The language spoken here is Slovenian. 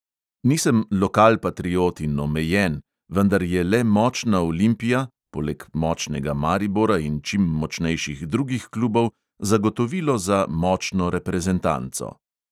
Nisem lokalpatriot in omejen, vendar je le močna olimpija, poleg močnega maribora in čim močnejših drugih klubov zagotovilo za močno reprezentanco.